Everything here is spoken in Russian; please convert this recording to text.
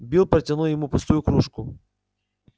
билл протянул ему пустую кружку